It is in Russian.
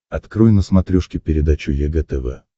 открой на смотрешке передачу егэ тв